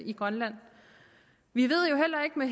i grønland vi ved jo heller ikke med